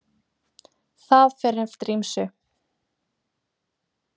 Það fer eftir ýmsu.